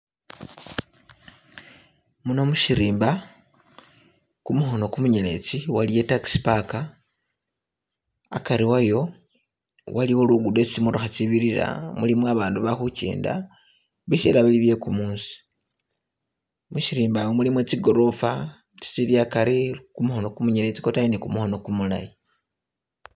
Muno musirimba, kumukhono kumunyeletsi waliyo i taxi park, akari wayo , waliwo lugudo esi tsimatokha tsibirira, mulimo abandu bali khukenda bisela bili bye kumuusi, musirimba omu mulimo tsi gorofa tsi tsili akari kumukhono kumunyeletsi kwotayi ne kumukhono kumulayi.